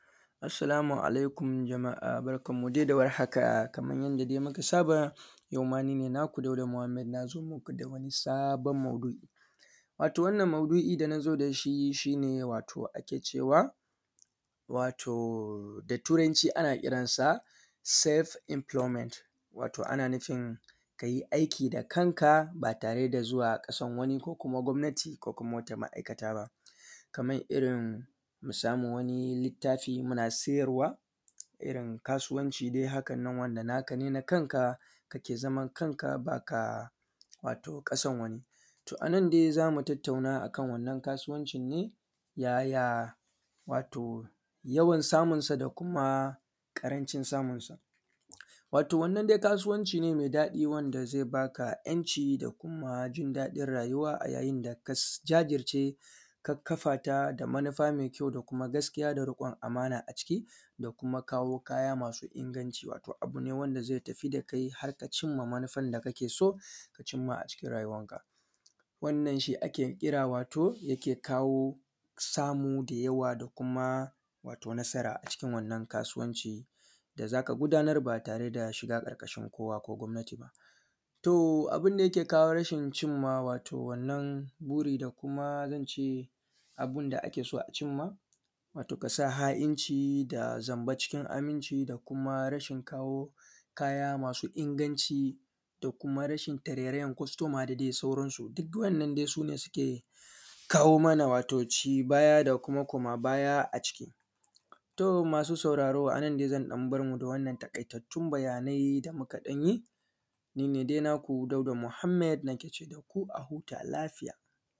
Assalamu alaikum jama’a barkanmu da warhaka kaman dai yanda muka saba yauma ni ne nako Dauda Muhammad na zo muku da wani sabon maudu’i wato wannan maudu’i da na zo da shi shi ne wato ake cewa wato da Turanci ana kiransa Self Employment. Wato ana nufin aiki a kanka ba tare da zuwa wurin wani ko gwamnati ko kuma wata ma’aikata ba kaman irin mu sama wani littafi muna siyarwa don kasuwanci wanda naka ne na kanka kake zaman kanka, to a nan dai za mu tattauna yaya yawan samunsa da kuma yawan ƙarancin samun wato wannan dai kasuwanci ne me daɗi wanda ze ba ka ‘yanci da kuma jin daɗin rayuwa a yayin da ka jajirce, ka fafata da manufa me kyau da gaskiya da ruƙon amana a ciki da kuma kawo kaya masu inganci, abu ne wanda ze tafi da cinma manufan da kake so a cikin rayuwanka wannan shi ake kira wato abu da yake kawo samu da yawa da kuma nasara a cikin rayuwa, a cikin wannan kasuwancin da za ka gudanar ba tare da shiga ƙarƙashin gwamnati ba. To, abin da take kawo rashin cimma wannan buri da kuma ko kuma in ce abin da ake so a cinma, wato ka sa ha’inci da zanba cikin aminci da kuma rashin kawo kaya masu inganci da kuma rashin tarerayan kwastoma da sauransu duk wannan su suke kawo mana ci baya da kuma komabaya a ciki. To, masu sauraro a nan ne zan bar mu na wannan taƙaitattun bayanai da muka ɗan yi. Ni ne dai nako Dauda Muhammand nake ce daku a huta lafiya.